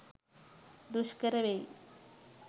දුෂ්කර වෙයි.